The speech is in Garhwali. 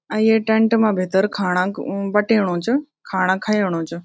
अ ये टेंट मा भीतर खाणा म-बटेणु च खाणा खयेणु च।